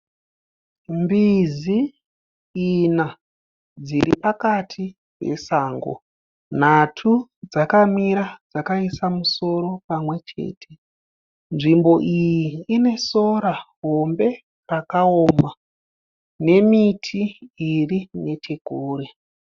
Mbizi ina dziri pakati pesango. Nhatu dzakamira dzakaisa musoro pamwe chete. Nzvimbo iyi ine sora hombe rakaoma nemiti iri nechekure.